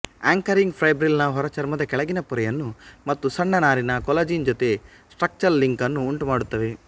anchoring fibril ನ ಹೊರಚರ್ಮದ ಕೆಳಗಿನ ಪೊರೆಯನ್ನು ಮತ್ತು ಸಣ್ಣ ನಾರಿನ ಕೊಲಾಜಿನ್ ಜೊತೆ ಸ್ಟ್ರಕ್ಚ್ರಲ್ ಲಿಂಕ್ ಅನ್ನು ಉಂಟುಮಾಡುತ್ತವೆ